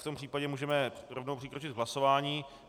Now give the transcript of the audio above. V tom případě můžeme rovnou přikročit k hlasování.